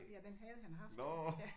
Ja den havde han haft